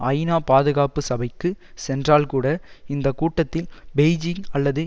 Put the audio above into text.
ஐநா பாதுகாப்பு சபைக்கு சென்றால் கூட இந்த கூட்டத்தில் பெய்ஜிங் அல்லது